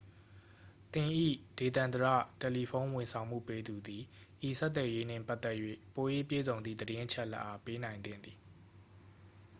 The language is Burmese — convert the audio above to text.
သင်၏ ဒေသန္တရ တယ်လီဖုန်း ဝန်ဆောင်မှုပေးသူသည် ဤဆက်သွယ်ရေးနှင့်ပတ်သက်၍ ပို၍ပြည့်စုံသည့်သတင်းအချက်အလက်အား ပေးနိုင်သင့်သည်